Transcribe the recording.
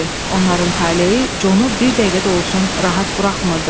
Onların taleyi Jonu bir dəqiqə də olsun rahat buraxmırdı.